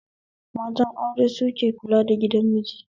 Matan aure suke kula da gidan miji